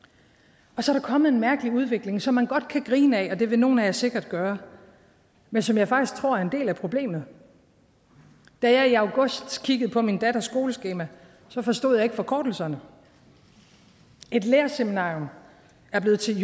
og så er der kommet en mærkelig udvikling som man godt kan grine ad og det vil nogle af jer sikkert gøre men som jeg faktisk tror er en del af problemet da jeg i august kiggede på min datters skoleskema forstod jeg ikke forkortelserne et lærerseminarium er blevet til